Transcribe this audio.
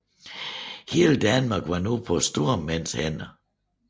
Hele Danmark var nu på stormændenes hænder